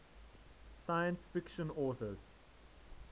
science fiction authors